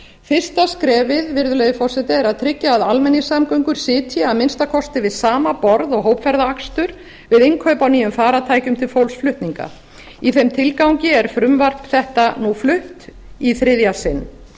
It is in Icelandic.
fyrsta skrefið virðulegi forseti er að tryggja að almenningssamgöngur sitji að minnsta kosti við sama borð og hópferðaakstur við innkaup á nýjum farartækjum til fólksflutninga í þeim tilgangi er frumvarp þetta nú flutt í þriðja sinn